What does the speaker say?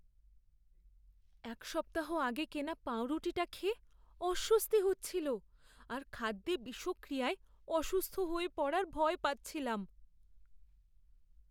এক সপ্তাহ আগে কেনা পাঁউরুটিটা খেয়ে অস্বস্তি হচ্ছিল আর খাদ্যে বিষক্রিয়ায় অসুস্থ হয়ে পড়ার ভয় পাচ্ছিলাম।